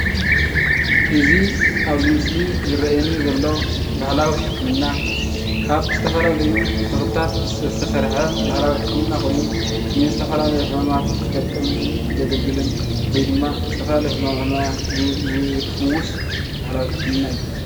እዚ ኣብዚ ምስሊ እዚ ዝርአየኒ ዘሎ ባህላዊ ሕክምና ካብ ዝተፈላለዩ ተኽልታት ዝተሰርሐ ባህላዊ ሕክምና ኾይኑ ንዝተፈላለዩ ሕማማት ዝጠቅምን ዘግልግልን ወይ ድማ ዝተፈላለዩ ሕማማት ዝፍውስ ባህላዊ ሕክምና እዩ፡፡